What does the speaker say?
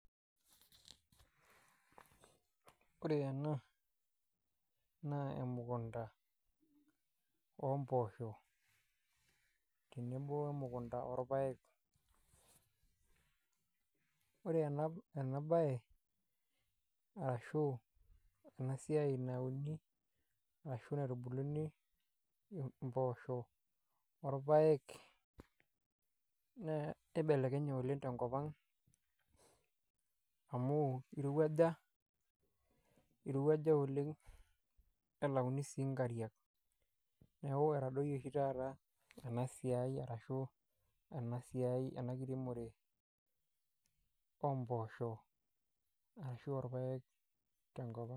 Ore ena naa emukunta oompoosho tenebo o emukunta orpaek ore ena baye arashu ena siai nauni ashu naitubuluni mpoosho orpaek naa ibelekenye oleng' tenkop ang' amu irowuaja oleng' nelauni sii nkariak neeku etadoyie oshi taata ena siai ena kiremore oompoosho ashu orpaek tenkop ang'.